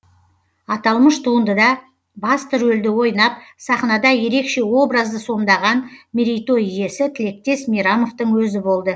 аталмыш туындыда басты рөлді ойнап сахнада ерекше образды сомдаған мерейтой иесі тілектес мейрамовтың өзі болды